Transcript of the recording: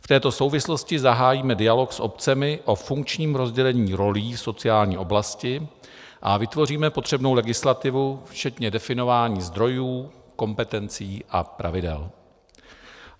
V této souvislosti zahájíme dialog s obcemi o funkčním rozdělení rolí v sociální oblasti a vytvoříme potřebnou legislativu včetně definování zdrojů, kompetencí a pravidel.